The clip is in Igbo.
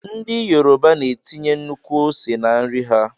Ndị Yoruba na -etinye nnukwu ose na- nri ha.